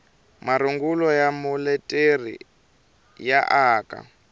marungulo ya muleteri ya aka